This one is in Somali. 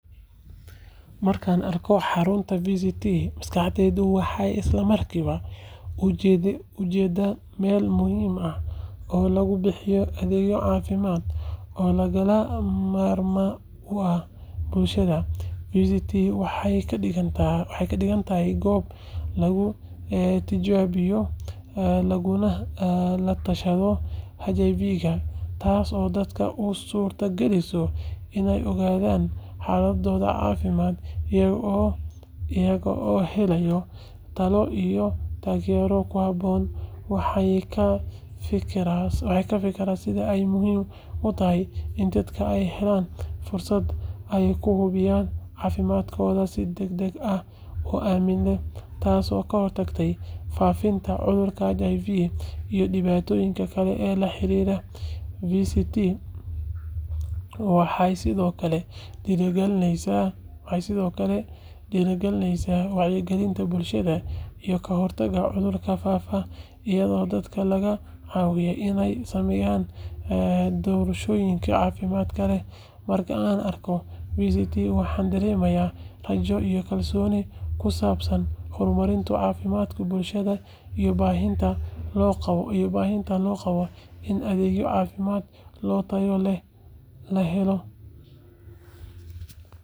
Markan arko xarunta vct maskadayda waxay islamarkiwa ujeda mel muhim ah oo lagubixiyo adhegyo cafimad oo lagamarman kuah bulshada vct, waxay kadigantahay gob lagu tijabiyo lagunah tashado hiv ga tasi oo dadka usurta galiso inay ogadan xalada cafimad iyago oo helayo talo iyo tagera kuhabon, waxay kafikiran sidhaa ay muhim utahay ini dadka ay helan fursad aay kuhubiyan cafimadkodha si deg deg ah uamit tasi oo kahortagte fafinta, cudurka hiv iyo dibatoyinka kale ee laxarira vct waxay sidiokale diri galineysa wacyo galinta bulshada iyo kahortaga cudurka fafa iyado dadka lagacawiyo inay sameyan dorishoyinka cafimadka leh, marka aan arko vct waxan daremayah rajo iyo kalsoni kusabsan hormarinta cafimadka bulshada iyoh bahinta loqabo ini adegyo cafimad loo tayo leh lahelo.